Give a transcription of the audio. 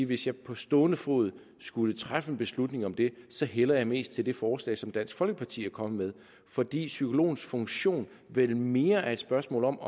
hvis jeg på stående fod skulle træffe en beslutning om det hælder jeg mest til det forslag som dansk folkeparti er kommet med fordi psykologens funktion vel mere er et spørgsmål om